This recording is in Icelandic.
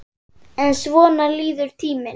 En svona líður tíminn.